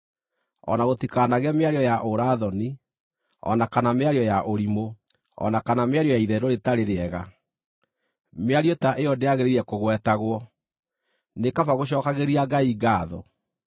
O na gũtikanagĩe mĩario ya ũũra-thoni, o na kana mĩario ya ũrimũ, o na kana mĩario ya itherũ rĩtarĩ rĩega. Mĩario ta ĩyo ndĩagĩrĩire kũgwetagwo; nĩ kaba gũcookagĩria Ngai ngaatho.